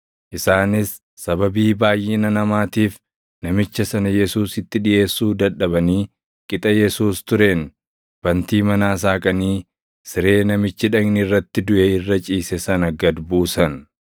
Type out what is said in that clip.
Isaanis sababii baayʼina namaatiif namicha sana Yesuusitti dhiʼeessuu dadhabanii qixa Yesuus tureen bantii manaa saaqanii siree namichi dhagni irratti duʼe irra ciise sana gad buusan.